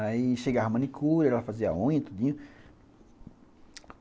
Aí chegava a manicura, ela fazia a unha e tudinho.